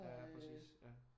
Ja præcis ja